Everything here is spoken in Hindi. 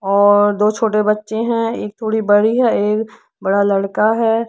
और दो छोटे बच्चे हैं एक थोड़ी बड़ी है एक बड़ा लड़का है।